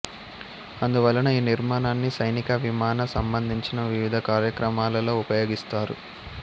అందువలన ఈ నిర్మాణాన్ని సైనిక విమాన సంబంధించిన వివిధ కార్యక్రమాలలో ఉపయోగిస్తారు